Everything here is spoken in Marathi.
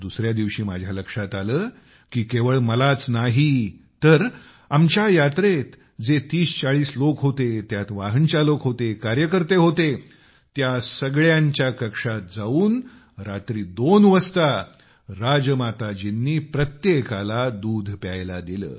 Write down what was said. दुसऱ्या दिवशी माझ्या लक्षात आले की केवळ मलाच नाही तर आमच्या यात्रेत जे तीसचाळीस लोक होते त्यात वाहन चालक होते कार्यकर्ते होते त्या सगळ्यांच्या कक्षात जाऊन रात्री दोन वाजता राजमाताजींनी प्रत्येकाला दूध प्यायला दिले